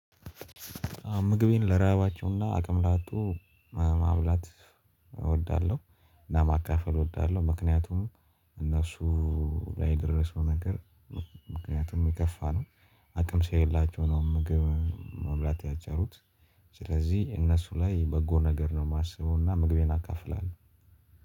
ምግቤን ለራባቸው እና አቅም ላጡ ማብላት እወዳለሁ። እና ማካፈል እወዳለሁ። ምክንያቱም እነሱ ላይ የደረሰው ነገር ምክንያቱም የከፋ ነው። አቅም ስለሌላቸው ነው ምግብ መብላት ያልቻሉት። ስለዚህ እነሱ ላይ በጎ ነገር ነው የማስበው እና ምግቤን አካፍላለሁ።